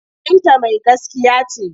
Binta mai gaskiya ce.